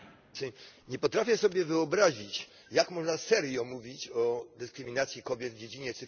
Nie potrafię sobie wyobrazić, jak można serio mówić o dyskryminacji kobiet w dziedzinie cyfrowej.